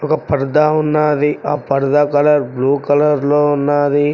ఒక పరదా ఉన్నాది ఆ పరదా కలర్ బ్లూ కలర్లో ఉన్నాది.